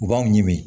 U b'aw ɲimi